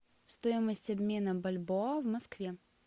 стоимость обмена бальбоа в москве